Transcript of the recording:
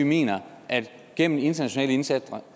mener at vi gennem internationale indsatser